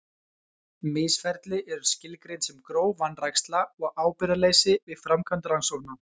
Misferli eru skilgreind sem gróf vanræksla og ábyrgðarleysi við framkvæmd rannsókna.